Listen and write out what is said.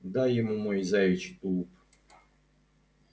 дай ему мой заячий тулуп